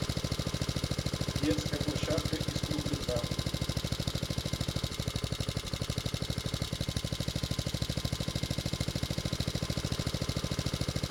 детская площадка из кругляка